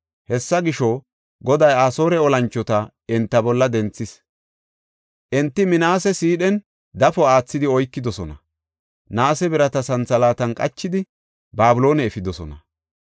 Hessa gisho, Goday Asoore olanchota enta bolla denthis. Enti Minaase sidhen dafo aathidi oykidosona; naase birata santhalaatan qachidi, Babiloone efidosona.